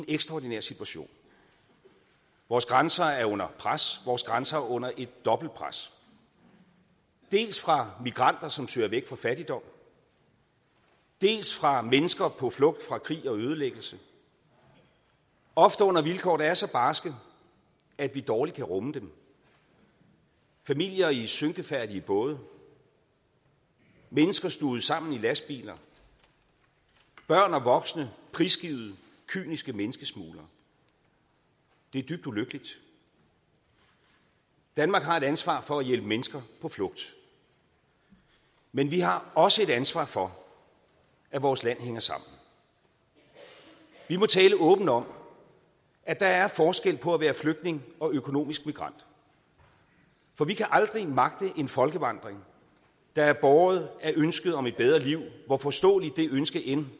ekstraordinær situation vores grænser er under pres vores grænser er under et dobbelt pres dels fra migranter som søger væk fra fattigdom dels fra mennesker på flugt fra krig og ødelæggelse ofte under vilkår der er så barske at vi dårligt kan rumme dem familier i synkefærdige både mennesker stuvet sammen i lastbiler børn og voksne prisgivet kyniske menneskesmuglere det er dybt ulykkeligt danmark har et ansvar for at hjælpe mennesker på flugt men vi har også et ansvar for at vores land hænger sammen vi må tale åbent om at der er forskel på at være flygtning og økonomisk migrant for vi kan aldrig magte en folkevandring der er båret af ønsket om et bedre liv hvor forståeligt det ønske end